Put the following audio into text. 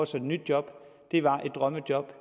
sig et nyt job det var drømmejobbet